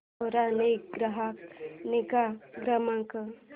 सेरा चा ग्राहक निगा क्रमांक